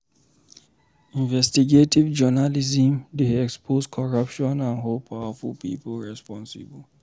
Investigative journalism dey expose corruption and hold powerful people responsible.